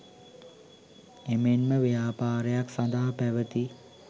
එමෙන්ම ව්‍යාපාරයක් සඳහා පැවති